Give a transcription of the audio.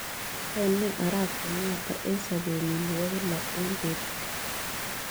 Yaene arap kenyatta eng' sapenyin ne po kila eng' betut